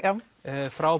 frá